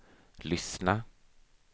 lyssna